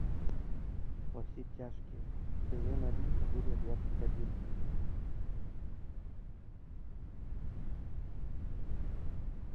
во все тяжкие сезон один серия двадцать один